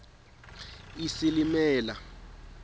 isilimela